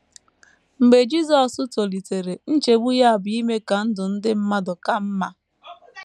Mgbe Jisọs tolitere, nchegbu ya bụ ime ka ndụ ndị mmadụ ka mma.